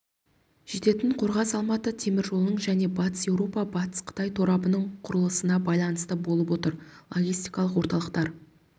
жететін қорғас-алматы теміржолының және батыс еуропа батыс қытай торабының құрылысына байланысты болып отыр логистикалық орталықтар